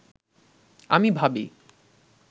আমি ভাবি